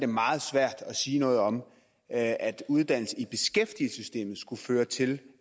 meget svært at sige noget om at uddannelse i beskæftigelsessystemet skulle føre til